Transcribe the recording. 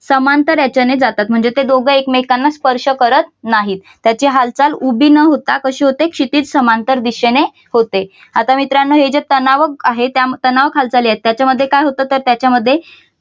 समांतर याच्याने जातात म्हणजे ते दोघं एकमेकांना स्पर्श करत नाहीत. त्याची हालचाल उभी न होता कशी होते क्षितिज समांतर दिशेने होते. आता मित्रांनो हे जे तणावक आहे तणावाक हालचाली आहेत त्याच्यामध्ये काय होतं तर त्याच्यामध्ये